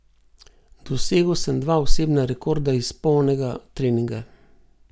Dosegel sem dva osebna rekorda iz polnega treninga.